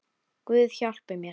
Guð hjálpi mér.